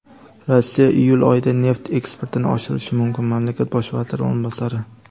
Rossiya iyul oyida neft eksportini oshirishi mumkin – mamlakat Bosh vaziri o‘rinbosari.